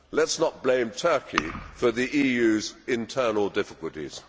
Let us not blame Turkey for the EU's internal difficulties.